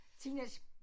Teenage